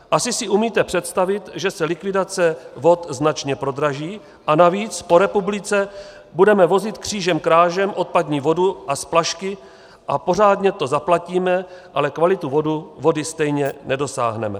Asi si umíte představit, že se likvidace vod značně prodraží a navíc po republice budeme vozit křížem krážem odpadní vodu a splašky a pořádně to zaplatíme, ale kvalitu vody stejně nedosáhneme.